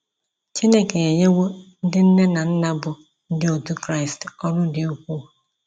Chineke enyewo ndị nne na nna bụ́ Ndị Otu Kraịst, ọrụ dị ukwuu.